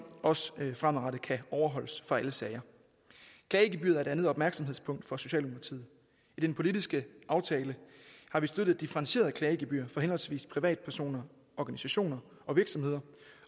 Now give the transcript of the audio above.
også fremadrettet kan overholdes for alle sager klagegebyret er et andet opmærksomhedspunkt for socialdemokratiet i den politiske aftale har vi støttet differentieret klagegebyr for henholdsvis privatpersoner organisationer og virksomheder